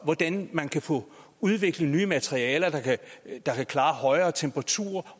hvordan man kan få udviklet nye materialer der kan klare høje temperaturer